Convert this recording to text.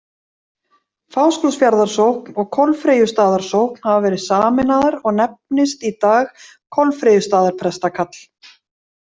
Fáskrúðsfjarðarsókn og Kolfreyjustaðarsókn hafa verið sameinaðar og nefnist í dag Kolfreyjustaðarprestakall.